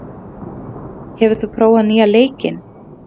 Malla, hefur þú prófað nýja leikinn?